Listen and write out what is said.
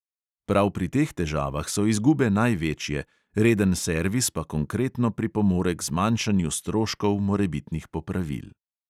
Prav pri teh težavah so izgube največje, reden servis pa konkretno pripomore k zmanjšanju stroškov morebitnih popravil.